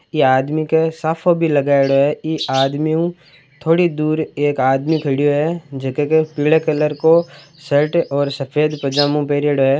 इ आदमी के साफों भी लगायोडो है इ आदमी उ थोड़ी दूर एक आदमी खडियो है जके के पिले कलर को शर्ट और सफ़ेद पजामो पेरियोडो है।